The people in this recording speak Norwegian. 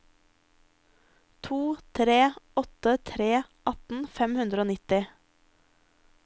to tre åtte tre atten fem hundre og nitti